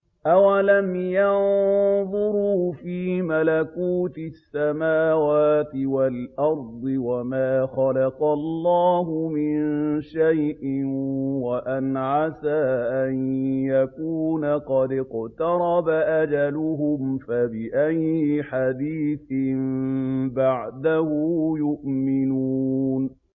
أَوَلَمْ يَنظُرُوا فِي مَلَكُوتِ السَّمَاوَاتِ وَالْأَرْضِ وَمَا خَلَقَ اللَّهُ مِن شَيْءٍ وَأَنْ عَسَىٰ أَن يَكُونَ قَدِ اقْتَرَبَ أَجَلُهُمْ ۖ فَبِأَيِّ حَدِيثٍ بَعْدَهُ يُؤْمِنُونَ